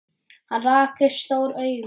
Hann rak upp stór augu.